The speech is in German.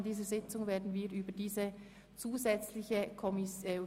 Anschliessend werden wir Sie wohl darüber informieren können.